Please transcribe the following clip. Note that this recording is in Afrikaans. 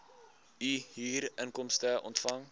u huurinkomste ontvang